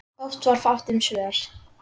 Oft var fátt um svör.